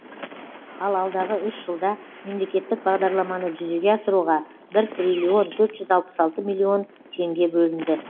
ал алдағы үш жылда мемлекеттік бағдарламаны жүзеге асыруға бір триллион төрт жүз алпыс алты миллион теңге бөлінді